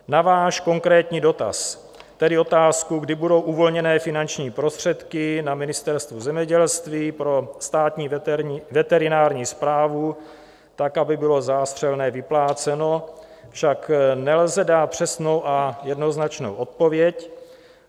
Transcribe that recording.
Na váš konkrétní dotaz, tedy otázku, kdy budou uvolněny finanční prostředky na Ministerstvu zemědělství pro Státní veterinární správu tak, aby bylo zástřelné vypláceno, však nelze dát přesnou a jednoznačnou odpověď.